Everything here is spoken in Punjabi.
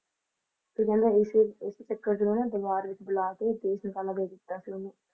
ਤੇ ਕਹਿੰਦੇ ਇਸੇ ਇਸੇ ਚੱਕਰ ਚ ਉਹਨੇ ਦਰਬਾਰ ਵਿੱਚ ਬੁਲਾ ਕੇ ਦੇਸ਼ ਨਿਕਾਲਾ ਦੇ ਦਿੱਤਾ ਸੀ ਉਹਨੂੰ